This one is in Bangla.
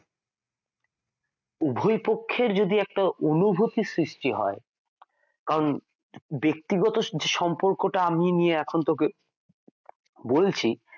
দুই পক্ষের যদি একটা অনুভুতি সৃষ্টি হয় কারন বেক্তিগত যে সম্পর্কটা আমি নিয়ে এখন তোকে বলছি,